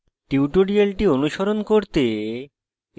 tutorial অনুসরণ করতে